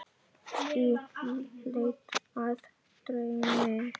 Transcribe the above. Í leit að draumi.